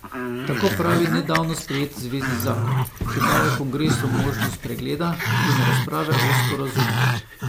Tako pravi nedavno sprejeti zvezni zakon, ki daje kongresu možnost pregleda in razprave o sporazumu.